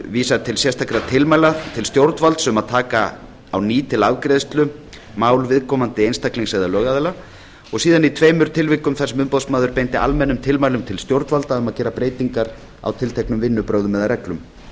vísar til sérstakra tilmæla til stjórnvalds um að taka á ný til afgreiðslu mál viðkomandi einstaklings eða lögaðila og síðan í tveimur tilvikum þar sem umboðsmaður beindi almennum tilmælum til stjórnvalda um að gera breytingar á tilteknum vinnubrögðum eða reglum